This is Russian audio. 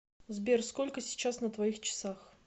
сбер сколько сейчас на твоих часах